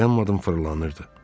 Dayanmadan fırlanırdı.